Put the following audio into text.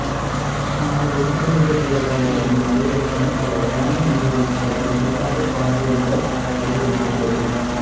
சுமார் ஒரு கிலோமீட்டர் தூரத்தில் உள்ள மலையேற்றம் ஒரு அழகான நீர்வீழ்ச்சியை முழுமையாகப் பார்வையிட வழிவகுக்கிறது